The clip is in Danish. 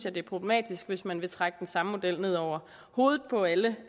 at det er problematisk hvis man vil trække den samme model ned over hovedet på alle